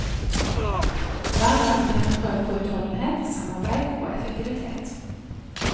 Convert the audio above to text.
Hver dag blir en prøve på utholdenhet, samarbeid og effektivitet.